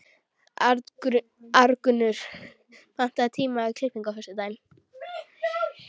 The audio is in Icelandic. Arngunnur, pantaðu tíma í klippingu á föstudaginn.